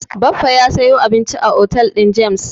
Baffa ya sayo abinci a otel din James.